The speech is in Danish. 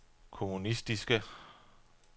kommunistiske